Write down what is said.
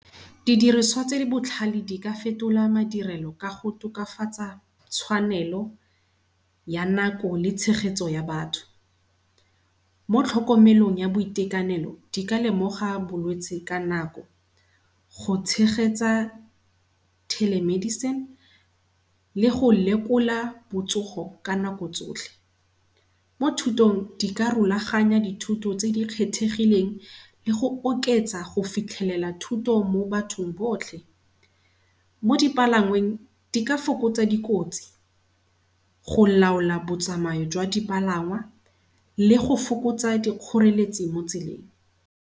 Didiriswa tse di botlhale di ka fetola madirelo ka go tokafatsa tshwanelo ya nako le tshegetso ya batho. Mo tlhokomelong ya boitekanelo di ka lemoga bolwetsi ka nako go tshegetsa telemedicine le go lekola botsogo ka nako tsotlhe. Mo thutong di ka rulaganya dithuto tse kgethegileng le go oketsa go fitlhelela thuto mo bathong botlhe. Mo dipalangweng di ka fokotsa dikotsi, go laola botsamayo jwa dipalangwa le go fokotsa dikgoreletsi mo tseleng.